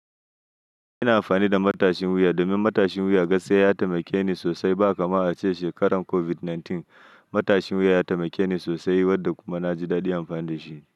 Ina amfani da matashin wuya domin matashin wuya gaskiya ya taimake ni sosai, ba kamar ace shekarar COVID-19 matashin wuya ya taimake ni sosai, wadda kuma naji daɗin amfani da shi.